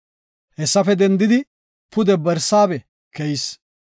Hessafe dendidi pude Barsaabe keyis.